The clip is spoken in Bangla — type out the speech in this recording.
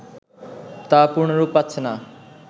তা পূর্ণরূপ পাচ্ছেনা